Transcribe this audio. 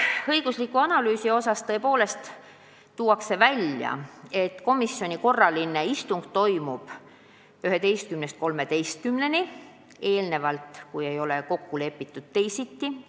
Õiguslikus analüüsis on tõepoolest öeldud, et komisjoni korraline istung toimub 11-st 13-ni, kui eelnevalt ei ole kokku lepitud teisiti.